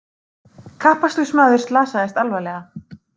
Kappakstursmaður slasaðist alvarlega